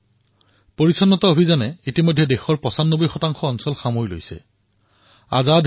দেশবাসীৰ স্বচ্ছতা সংকল্পৰ দ্বাৰা ব্যাপ্ততা বৃদ্ধি হৈ ৯৫ অতিক্ৰম কৰাৰ দিশত আগবাঢ়িছে